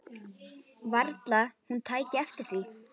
Varla hún tæki eftir því.